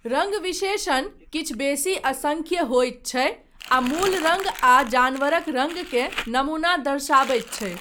रङ्ग विशेषण किछु बेसी असंख्य होइत छै आ मूल रङ्ग आ जानवरक रङ्ग के नमूना दर्शाबैत छै।